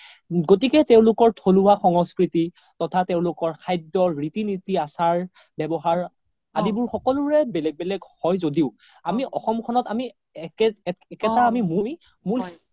গতিকে তেওলোকৰ থমোৱা সংস্কৃতি তথা তেওলোকৰ খাদ্যৰ ৰিতি নিতি আচাৰ ৱ্যাবহাৰ আদিবোৰ সকলোৰে বেলেগ বেলেগ হয় য্দিও আমি অসমখন আমি একেতা আমি